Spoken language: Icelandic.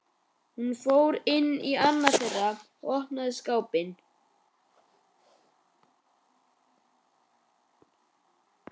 Hún fór inn í annað þeirra og opnaði skápinn.